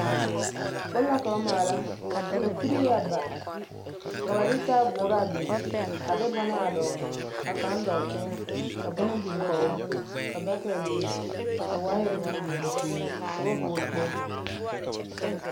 Bone la ka ba maala ka kuri a ba ka ba de taaboore a biŋ a de bona a dɔgele ka kaŋ dɔɔ teŋɛ ka bona biŋ kɔge o ka bakɛte biŋ ka waayɛre meŋ biŋ ka ba hɔɔle kpoli.